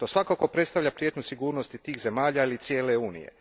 To svakako predstavlja prijetnju sigurnosti tih zemalja ili cijele Unije.